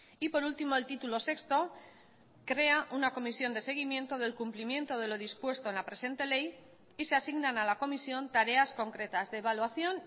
y por último el título sexto crea una comisión de seguimiento del cumplimiento de lo dispuesto en la presente ley y se asignan a la comisión tareas concretas de evaluación